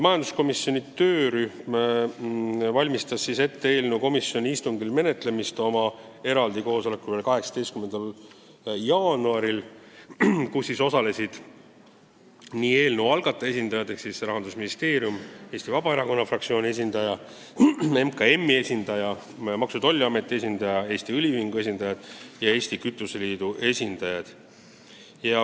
Majanduskomisjoni töörühm valmistas eelnõu komisjoni istungil menetlemiseks ette oma eraldi koosolekul 18. jaanuaril, kus osalesid eelnõu algataja esindajad ehk siis Rahandusministeeriumi inimesed, Eesti Vabaerakonna fraktsiooni esindaja, MKM-i esindaja, Maksu- ja Tolliameti esindaja ning Eesti Õliühingu ja Eesti Kütuseliidu esindajad.